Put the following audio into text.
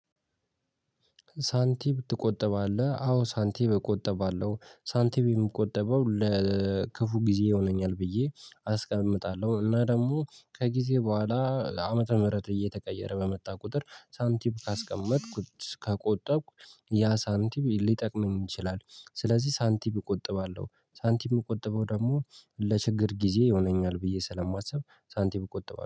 ሳንቲም ትቆጥባለህ አዎ ሳንቲም እቆጠባለሁ ሳንቲም የምቆጠበው ለክፉ ጊዜ ይሆነኛል ብዬ አስቀምጣለሁ እና ደግሞ ከጊዜ በኋላ ዓመተ ምህረት እየተቀየረ በመጣ ቁጥር ሳንቲም ካስቀመጥኩት ከቆጠብኩ ያ ሳንቲም ሊጠቅመኝ ይችላል። ስለዚህ ሳንቲም እቆጥባለሁ ሳንቲም እቆጥባለሁ ደግሞ ለችግር ጊዜ ይሆነኛል ብዬ ስለማስብ ሳንቲም እቆጥባለሁ